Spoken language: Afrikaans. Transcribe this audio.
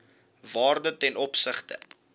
waarde ten opsigte